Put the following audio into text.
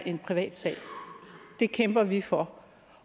en privat sag det kæmper vi for